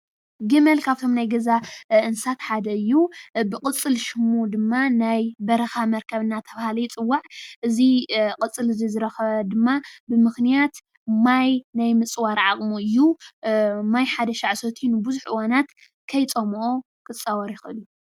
ግመል ካብ እቶም ናይ ገዛ እንስሳት ሓደ እዩ፡፡ ብቅፅል ሽሙ ድማ ናይ በረካ መርከብ እንዳተባሃለ ይፅዋዕ፡፡ እዚ ቅፅል እዚ ዝረከበ ድማ ብምክንያት ማይ ናይ ምፅዋር ዓቅሙ እዩ፡፡ ማይ ሓደሻዕ ሰትዩ ንቡዙሕ እዋናት ከይፀመኦ ክፃወር ይክእል እዩ፡፡